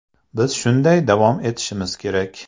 Biz shunday davom etishimiz kerak.